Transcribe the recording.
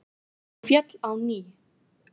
Hún féll á ný.